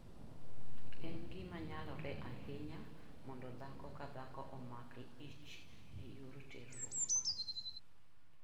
En gima nyalore ahinya mondo dhako ka dhako omak ich e yor teruok.